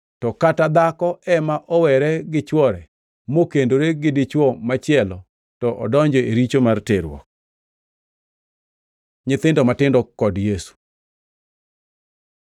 To kata dhako ema owere gi chwore mokendore gi dichwo machielo to odonjo e richo mar terruok.” Nyithindo matindo kod Yesu